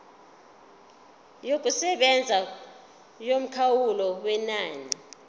yokusebenza yomkhawulo wenani